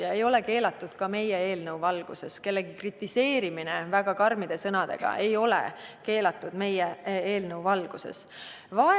See ei ole keelatud ka meie eelnõu valguses, kellegi kritiseerimine väga karmide sõnadega ei ole meie eelnõu valguses keelatud.